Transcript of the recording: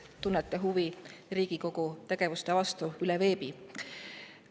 –, kes te tunnete huvi Riigikogu tegevuste vastu veebis!